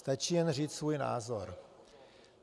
Stačí jen říci svůj názor.